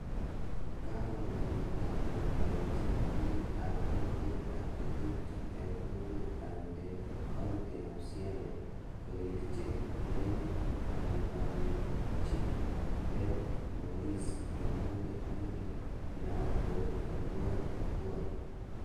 Kakobwaa piik ap baibaitchi, piik ap kokwet ak chetuupcho eng' kokwet ap Ndere, county ap siaya, korirchi neibaiabaitchi Ben Maurice Omondi ne kinaat kuu othuol othuol